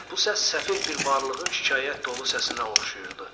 Bu səs səfeh bir varlığın şikayət dolu səsinə oxşayırdı.